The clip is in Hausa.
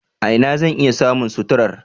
A ina zan iya samun suturar?